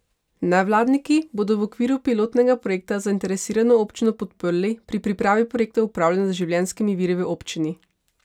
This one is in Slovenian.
Nevladniki bodo v okviru pilotnega projekta zainteresirano občino podprli pri pripravi projektov upravljanja z življenjskimi viri v občini.